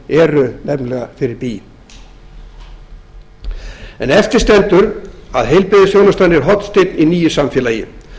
eru nefnilega fyrir bí eftir stendur að heilbrigðisþjónustan er hornsteinn i nýju samfélagi